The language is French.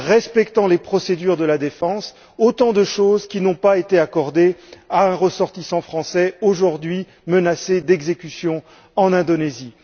et les procédures de la défense, autant de choses qui n'ont pas été accordées à un ressortissant français aujourd'hui menacé d'exécution en Indonésie.